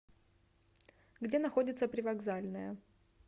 где находится привокзальная